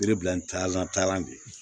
Yiri bila ndana de ye